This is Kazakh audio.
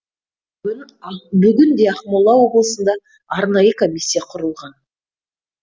бүгінде ақмола облысында арнайы комиссия құрылған